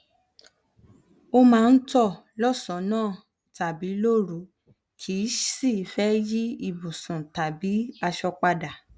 ó máa ń tọ lọsànán tàbí lóru kìí sìí fẹ yí ibùsùn tàbí aṣọ padà